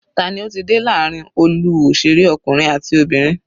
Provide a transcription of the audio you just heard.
Tani ó ti dé láàrin olú òṣèré ọkùnrin àti obìnrin?